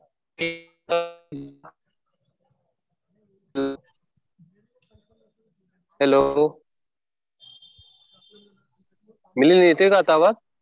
Hello Milind येतोय का आता आवाज?